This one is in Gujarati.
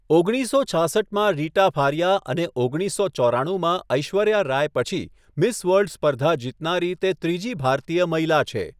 ઓગણીસસો છાસઠમાં રીટા ફારિયા અને ઓગણીસો ચોરાણુંમાં ઐશ્વર્યા રાય પછી મિસ વર્લ્ડ સ્પર્ધા જીતનારી તે ત્રીજી ભારતીય મહિલા છે.